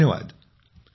धन्यवाद नमस्कार ।